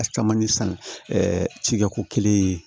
A caman ye san cikɛ ko kelen ye